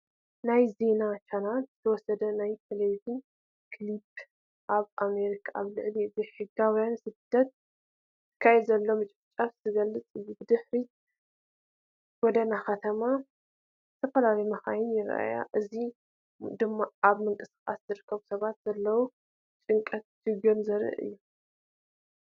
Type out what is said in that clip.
ናይ ዜና ቻነል ዝተወስደ ናይ ቲቪ ክሊፕ ኣብ ኣሜሪካ ኣብ ልዕሊ ዘይሕጋውያን ስደተኛታት ዝካየድ ዘሎ ምጭፍላቕ ዝገልጽ እዩ። ብድሕሪት ጎደና ከተማን ዝተፈላለያ መካይንን ይረኣያ። እዚ ድማ ኣብ ምንቅስቓስ ዝርከቡ ሰባት ዘለዎም ጭንቀትን ሽግርን ዘርኢ እዩ።